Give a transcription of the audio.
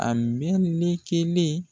A me ne kelen